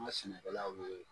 An ka sɛnɛkɛlaw ye